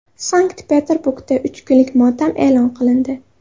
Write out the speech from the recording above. Sankt-Peterburgda uch kunlik motam e’lon qilindi.